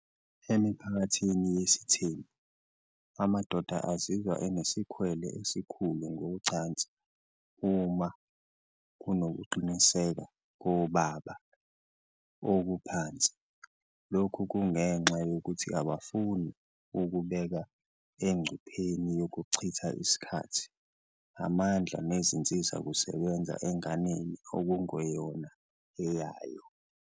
Emiphakathini yesithembu, amadoda azizwa enesikhwele esikhulu ngocansi uma kunokuqiniseka kobaba okuphansi. Lokhu kungenxa yokuthi abafuni ukubeka engcupheni yokuchitha isikhathi, amandla nezinsizakusebenza enganeni okungeyona eyayo.